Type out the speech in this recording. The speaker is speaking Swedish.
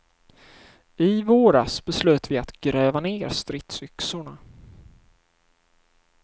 I våras beslöt vi att gräva ner stridsyxorna.